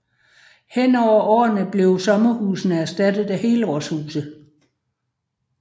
Hen over årene blev sommerhusene erstattet af helårshuse